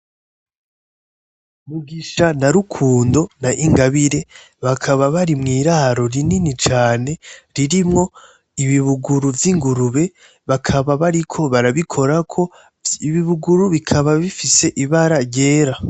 Mugisha na Rukundo na Ingabire bakaba bari mw'iraro rinini cane ririmwo ibibuguru vy'ingurube bakaba bariko barabikorako vyi ibibuguru bikaba bifise ibara ryera.